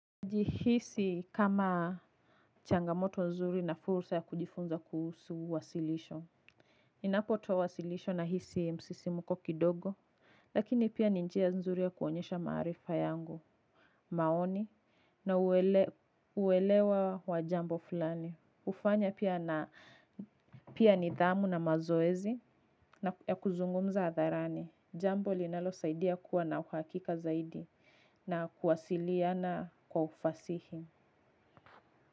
Jihisi kama changamoto nzuri na fursa ya kujifunza kuhusu wasilisho. Ninapotoa wasilisho na hisi msisimuko kidogo. Lakini pia ni njia nzuri ya kuonyesha maarifa yangu. Maoni na uwelewa wa jambo fulani, ufanya pia na pia nithamu na mazoezi ya kuzungumza hatharani. Jambo linalo saidia kuwa na uhakika zaidi na kuwasiliyana kwa ufasihi.